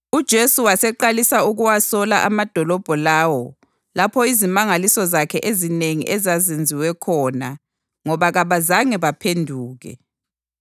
UJesu waseqalisa ukuwasola amadolobho lawo lapho izimangaliso zakhe ezinengi ezazenziwe khona ngoba kabazange baphenduke: